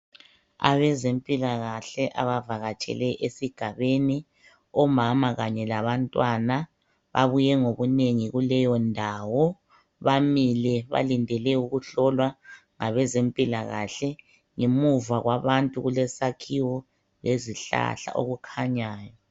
Abezempilakahle abavakatshele esigabeni .Omama Kanye labantwana babuye ngobunengi kuleyo ndawo bamile balindele ukuhlowa ngabezempilakahle . Ngemuva kwabantu kukesakhiwo lezihlahla okukhanyayo .